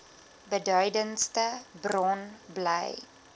beduidendste bron bly